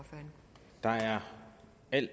at